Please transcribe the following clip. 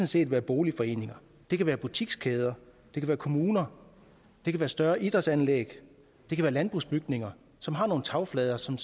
set være boligforeninger det kan være butikskæder det kan være kommuner det kan være større idrætsanlæg det kan være landbrugsbygninger som har nogle tagflader som